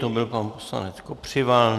To byl pan poslanec Kopřiva.